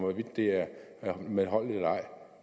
det er medholdeligt eller ej